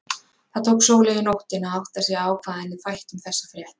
Það tók Sóleyju nóttina að átta sig á hvað henni þætti um þessar fréttir.